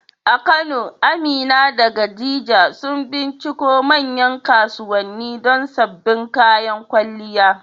A Kano, Amina da Khadija sun binciko manyan kasuwanni don sabbin kayan kwalliya.